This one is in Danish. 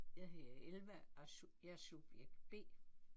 Jeg hedder Elva og er jeg er subjekt B